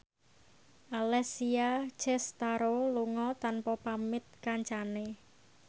Alessia Cestaro lunga tanpa pamit kancane